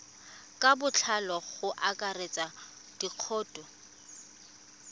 ka botlalo go akaretsa dikhoutu